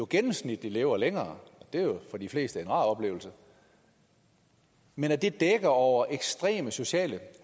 gennemsnitligt lever længere og det er jo for de fleste en rar oplevelse men at det dækker over ekstreme sociale